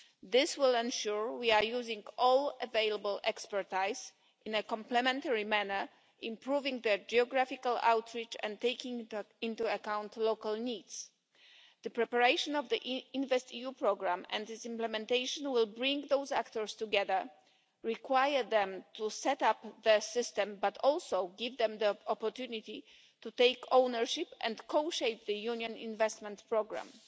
This will ensure we are using all available expertise in a complementary manner, improving their geographical outreach and taking into account local needs. The preparation of the InvestEU programme and its implementation will bring those actors together, require them to set up the system, but also give them the opportunity to take ownership and co shape the Union investment programme.